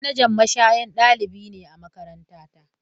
Manajan mashaya dalibi ne a makarantara.